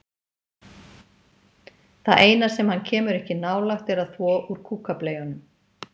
Það eina sem hann kemur ekki nálægt er að þvo úr kúkableyjunum.